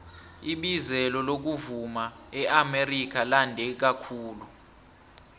ibizelo lokuvuma eamerika lande kakhulu